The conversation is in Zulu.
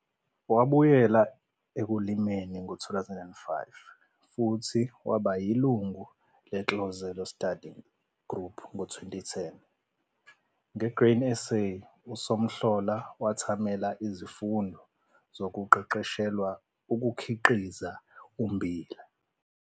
Wabuyela ekulimeni ngo-2005 futhi waba yilungu leNtlozelo Study Group ngo-2010. Nge-Grain SA, uSomhlola wathamela izifundo zokuqeqeshelwa ukukhiqiza ummbila.